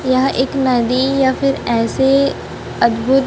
यह एक नदी या फिर ऐसे अद्भुत--